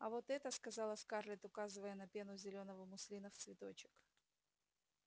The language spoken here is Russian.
а вот это сказала скарлетт указывая на пену зелёного муслина в цветочек